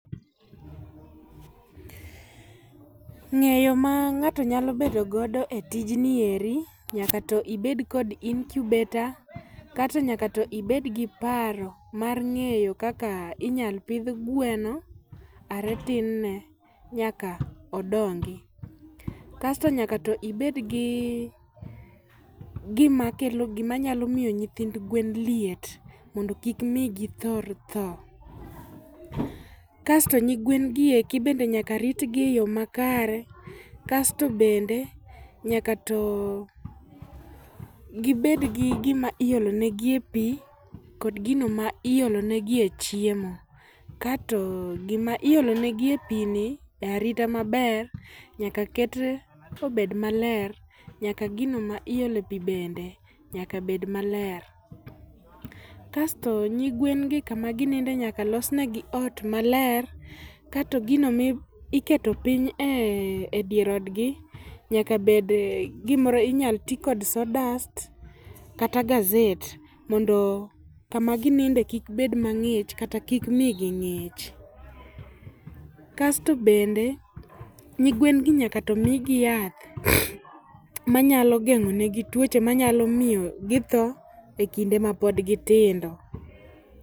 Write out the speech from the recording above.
Ng'eyo ma ng'ato nyalo bedo godo e tijni eri, nyaka to ibed kod incubator. Kato nyaka to ibed gi paro mar ng'eyo kaka inyal pidh gweno are tin ne nyaka odongi. Kasto nyaka to ibed gi gimakelo, gima nyalo miyo nyithind gwen liet, mondo kik mi githor tho. Kasto nyigwen gi eki bende nyaka rit gi e yo makare kasto bende nyaka to gibed gi gima iolo negie pi, kod gino ma iolo negie chiemo. Kato gima iolo negi e pi ni e arita maber, nyaka ket obed maler, nyaka gino ma iolo pi bende nyaka bed maler. Kasto nyigwen gi kama gininde nyaka los negi ot maler, kato gino miketo piny e dier odgi nyaka bed gimoro, inyal ti kod sawdust kata gazet, mondo kama gininde kik bed mang'ich kata kik mi gi ng'ich. Kasto bende, nyigwen gi nyaka to migi yath manyalo geng'o negi tuoche manyalo miyo githoo e kinde ma pod gitindo.